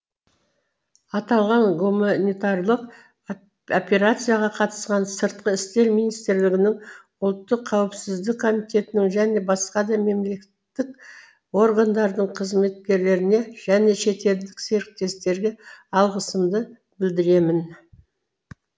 аталған гуманитарлық операцияға қатысқан сыртқы істер министрлігінің ұлттық қауіпсіздік комитетінің және басқа да мемлекеттік органдардың қызметкерлеріне және шетелдік серіктестерге алғысымды білдіремін